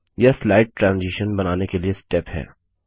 यह slide transition बनाने के लिए स्टेप है